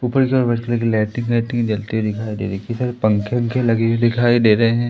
ऊपर की ओर व्हाइट कलर की लैटिन लैटिन जलती हुई दिखाई दे रही कई सारे पंखे-वखे लगे हुए दिखाई दे रहे हैं।